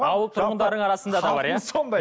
ауыл тұрғындарының арасында да бар иә сондай